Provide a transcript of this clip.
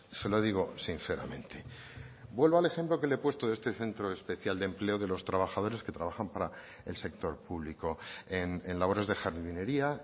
se lo digo sinceramente vuelvo al ejemplo que le he puesto de este centro especial de empleo de los trabajadores que trabajan para el sector público en labores de jardinería